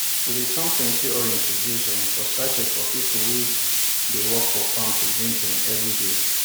we dey turn plenty orange to juice um for sachets for people um wey dey work for farm to drink um every day